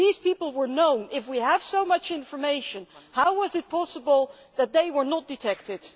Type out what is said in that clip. If these people were known, if we had so much information, how was it possible that they were not detected?